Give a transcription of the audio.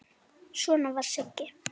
Svona var Siggi.